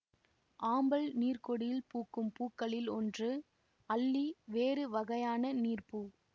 ஆம்பல் நீர்கொடியில் பூக்கும் பூக்களில் ஒன்று அல்லி வேறு வகையான நீர்ப்பூ